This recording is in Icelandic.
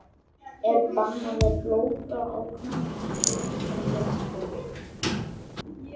Er bannað að blóta á knattspyrnuvöllum?!